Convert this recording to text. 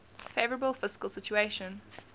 favourable fiscal situation